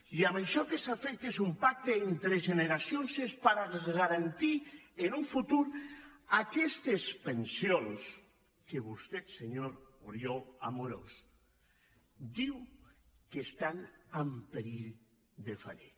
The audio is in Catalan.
i això que s’ha fet que és un pacte entre generacions és per garantir en un futur aquestes pensions que vostè senyor oriol amorós diu que estan en perill de fallir